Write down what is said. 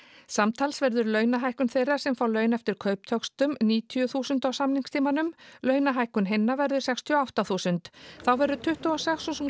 samtals verður launahækkun þeirra sem fá laun eftir kauptöxtum níutíu þúsund á samningstímanum launahækkun hinna verður sextíu og átta þúsund þá verður tuttugu og sex þúsund